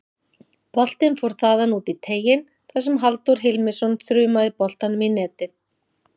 Boltinn fór þaðan út í teiginn þar sem Halldór Hilmisson þrumaði boltanum í netið.